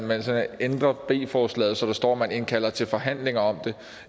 man kan ændre b forslaget så der står at man indkalder til forhandlinger om det